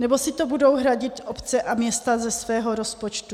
Nebo si to budou hradit obce a města ze svého rozpočtu?